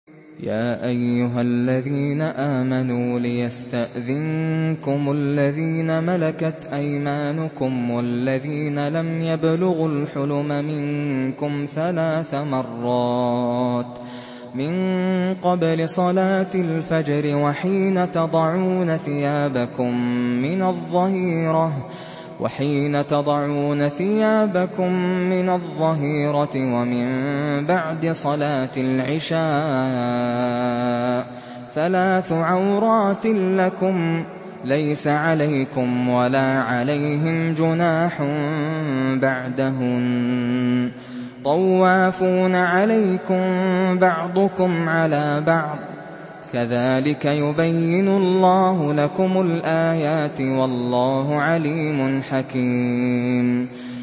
يَا أَيُّهَا الَّذِينَ آمَنُوا لِيَسْتَأْذِنكُمُ الَّذِينَ مَلَكَتْ أَيْمَانُكُمْ وَالَّذِينَ لَمْ يَبْلُغُوا الْحُلُمَ مِنكُمْ ثَلَاثَ مَرَّاتٍ ۚ مِّن قَبْلِ صَلَاةِ الْفَجْرِ وَحِينَ تَضَعُونَ ثِيَابَكُم مِّنَ الظَّهِيرَةِ وَمِن بَعْدِ صَلَاةِ الْعِشَاءِ ۚ ثَلَاثُ عَوْرَاتٍ لَّكُمْ ۚ لَيْسَ عَلَيْكُمْ وَلَا عَلَيْهِمْ جُنَاحٌ بَعْدَهُنَّ ۚ طَوَّافُونَ عَلَيْكُم بَعْضُكُمْ عَلَىٰ بَعْضٍ ۚ كَذَٰلِكَ يُبَيِّنُ اللَّهُ لَكُمُ الْآيَاتِ ۗ وَاللَّهُ عَلِيمٌ حَكِيمٌ